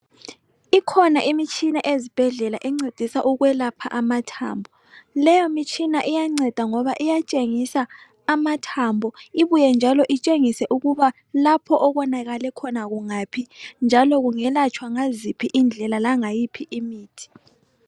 Ikhona imitshina ezibhedlela encedisa ukwelapha amathambo leyomitshina iyanceda ngoba iyatshengisa amathambo ibuye njalo itshengise ukuba lapho okonakale khona kungaphi njalo kungelatshwa ngaziphi indlela langayiphi imithi.